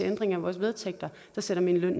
ændring af vores vedtægter der sætter min løn